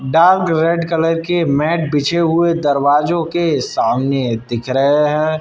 Dark red colour के mat बिछे हुए दरवाजों के सामने दिख रहे हैं।